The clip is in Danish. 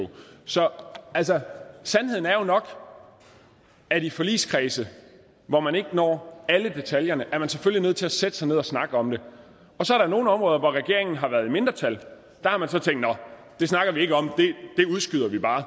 så altså sandheden er jo nok at i forligskredse hvor man ikke når alle detaljerne er man selvfølgelig nødt til at sætte sig ned og snakke om det og så er der nogle områder hvor regeringen har været i mindretal og der har man så tænkt nå det snakker vi ikke om det udskyder vi bare og